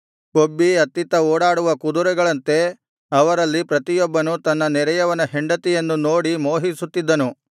ಕೊಬ್ಬಿ ಅತ್ತಿತ್ತ ಓಡಾಡುವ ಕುದುರೆಗಳಂತೆ ಅವರಲ್ಲಿ ಪ್ರತಿಯೊಬ್ಬನು ತನ್ನ ನೆರೆಯವನ ಹೆಂಡತಿಯನ್ನು ನೋಡಿ ಮೋಹಿಸುತ್ತಿದ್ದನು